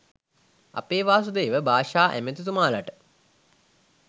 අපේ වාසුදේව භාෂා ඇමතිතුමාලට